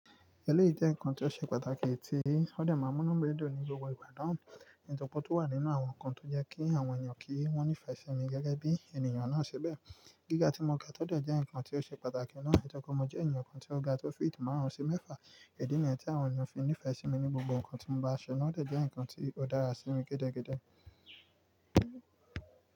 Ẹléyìí jẹ́ ǹkan tó ṣe pàtàkì tí ó dẹ̀ máa n mú inú mi dun ní gbogbo ìgbà naa so nnkan tó wà nínú àwọn nǹkan tó jẹ́ kí àwọn èèyàn kí wọ́n nífẹ̀ẹ́ sí mi gẹ́gẹ́ bí ènìyàn náà ṣi bẹ́ẹ̀. Gíga tí mo ga tọ́ dẹ̀ jẹ́ nǹkan tó ṣe pàtàkì náà. Tori pe mo jẹ́ èèyàn kan tó ga, tó feet màrùn sí mẹ́fà. Idí niyen tí àwọn ènìyàn fi nífẹ̀ẹ́ sí mi ní gbogbo nǹkan tí mo bá ṣe náà tọ́ dẹ̀ jẹ́ nǹkan tó dára sí mi gidigidi.